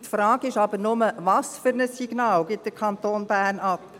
Die Frage ist jedoch, welches Signal der Kanton Bern aussendet.